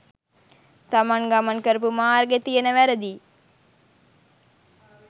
තමන් ගමන් කරපු මාර්ගෙ තියෙන වැරදියි